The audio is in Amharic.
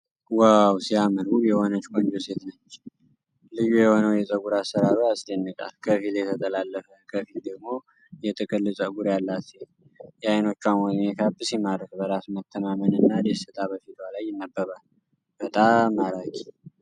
ዋው ሲያምር! ውብ የሆነች ቆንጆ ሴት ነች። ልዩ የሆነው የፀጉር አሠራሯ ያስደንቃል። ከፊል የተጠላለፈ፣ ከፊል ደግሞ ጥቅል ፀጉር ያላት ሴት! የዓይኖቿ ሜካፕ ሲማርክ! በራስ መተማመን እና ደስታ በፊቷ ላይ ይነበባል። በጣም ማራኪ!